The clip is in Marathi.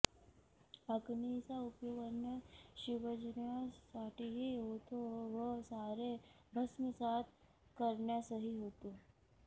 अग्नीचा उपयोग अन्न शिजवण्यासाठीही होतो व सारे भस्मसात करण्यासही होतो